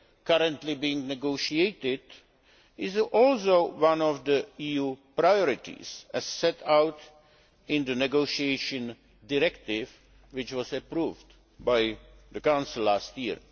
currently being negotiated is also one of the EU priorities as set out in the negotiation directive which was approved by the Council last year.